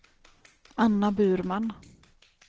Anna Burman